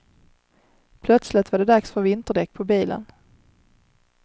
Plötsligt var det dags för vinterdäck på bilen.